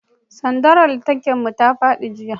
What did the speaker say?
sandar wutar lantarkin mu ta fadi jiya